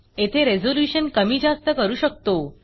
येथे Resolutionरेज़ल्यूशन कमी जास्त करू शकतो